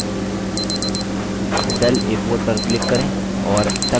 cell a4 पर click करें और sum type करें